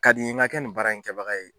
Ka di n ye n ka kɛ nin baara in kɛbaga ye